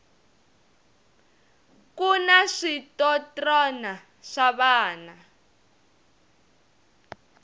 kuna switotrna swa vana